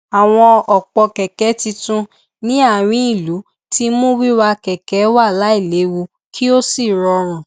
àwọn òpó kẹkẹ tuntun ní àárín ìlú ti mú wíwà kẹkẹ wà láìléwu kí ó sì rọrùn